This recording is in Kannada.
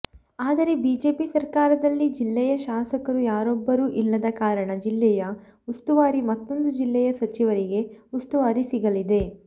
ಆದರೆ ಬಿಜೆಪಿ ಸರ್ಕಾರದಲ್ಲಿ ಜಿಲ್ಲೆಯ ಶಾಸಕರು ಯಾರೊಬ್ಬರು ಇಲ್ಲದ ಕಾರಣ ಜಿಲ್ಲೆಯ ಉಸ್ತುವಾರಿ ಮತ್ತೂಂದು ಜಿಲ್ಲೆಯ ಸಚಿವರಿಗೆ ಉಸ್ತುವಾರಿ ಸಿಗಲಿದೆ